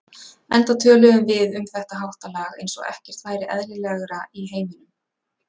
Enda töluðum við um þetta háttalag eins og ekkert væri eðlilegra í heiminum.